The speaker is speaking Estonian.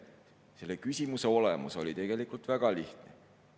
Selle küsimuse olemus oli tegelikult väga lihtne.